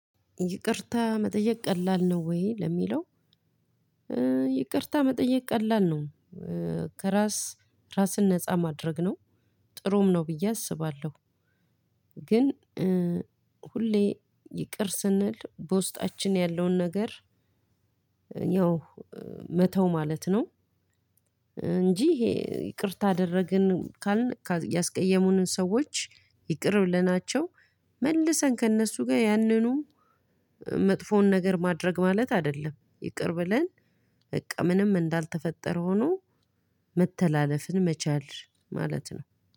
ይቅርታ መጠየቅ ቀላል ነው ወይ ለሚለው? ይቅርታ መጠየቅ ቀላል ነው። ከራስ ራስን ነፃ ማድረግ ነው። ጥሩም ነው ብዬ አስባለሁ። ግን ሁሌ ይቅር ስንል በውስጣችን ያለውን ነገር። መተው ማለት ነው። እንጂ ይሄ ይቅርታ አደረግን ካልን ያስቀየሙንን ሰዎች ይቅር ብለናቸው መልሰን ከእነሱ ጋር ያንኑ መጥፎውን ነገር ማድረግ ማለት አይደለም። ይቅር ብለን በቃ ምንም እንዳልተፈጠረ ሆኖ መተላለፍን መቻል ማለት ነው